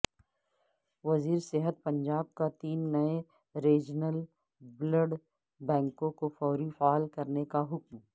وزیرصحت پنجاب کا تین نئے ریجنل بلڈ بنکوں کو فوری فعال کرنے کا حکم